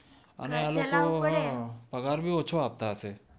અને આ લોકો તો પગાર ભી ઓછો આપતા હશે